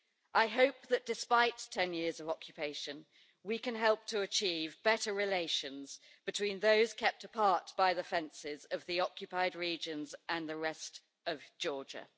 I hope that despite 10 years of occupation, we can help to achieve better relations between those kept apart by the fences of the occupied regions and the rest of Georgia.